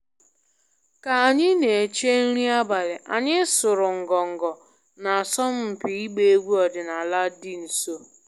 Ka anyị na-eche nri abalị, anyị sụrụ ngọngọ n'asọmpi ịgba egwu ọdịnala dị nso